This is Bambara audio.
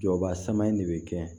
Jɔba sama in de bɛ kɛ